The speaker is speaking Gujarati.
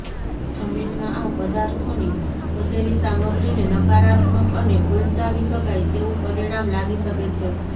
જમીનમાં આ પદાર્થોની વધેલી સામગ્રીને નકારાત્મક અને ઉલટાવી શકાય તેવું પરિણામ લાગી શકે છે